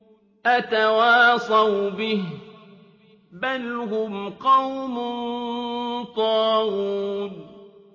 أَتَوَاصَوْا بِهِ ۚ بَلْ هُمْ قَوْمٌ طَاغُونَ